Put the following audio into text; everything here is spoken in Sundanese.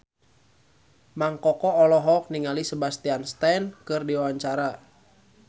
Mang Koko olohok ningali Sebastian Stan keur diwawancara